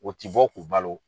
K'o ci fo k'u balo.